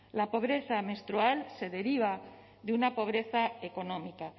la pobreza menstrual se deriva de una pobreza económica